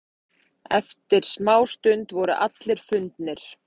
Eftir smástund voru allir fundnir.